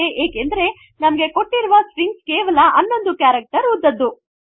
ಏಕೆಂದರೆ ನಮಗೆ ಕೊಟ್ಟಿರುವ ಸ್ಟ್ರಿಂಗ್ ಕೇವಲ 11 ಕೆರಕ್ಟೆರ್ ಉದ್ದದ್ದು